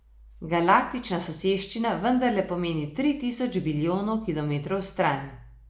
Galaktična soseščina vendarle pomeni tri tisoč bilijonov kilometrov stran.